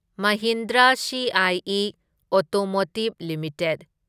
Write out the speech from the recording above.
Mahindra CIE automotive limited